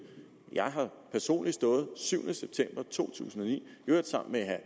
jeg har personlig stået syvende september to tusind og ni i øvrigt sammen med herre